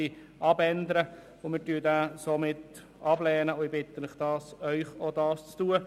Wir lehnen den Antrag somit ab und bitten den Rat, das ebenfalls zu tun.